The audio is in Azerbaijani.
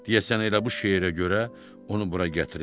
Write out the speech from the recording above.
Deyəsən elə bu şeirə görə onu bura gətiriblər.